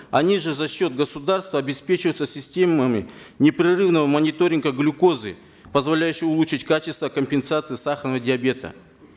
они же за счет государства обеспечиваются системами непрерывного мониторинга глюкозы позволяющей улучшить качество компенсации сахарного диабета